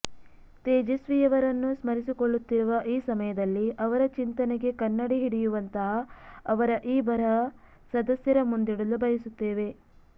ತೇಜಸ್ವಿಯವರನ್ನು ಸ್ಮರಿಸಿಕೊಳ್ಳುತ್ತಿರುವ ಈ ಸಮಯದಲ್ಲಿ ಅವರ ಚಿಂತನೆಗೆ ಕನ್ನಡಿ ಹಿಡಿಯುವಂತಹ ಅವರ ಈ ಬರಹ ಸದಸ್ಯರ ಮುಂದಿಡಲು ಬಯಸುತ್ತೇವೆ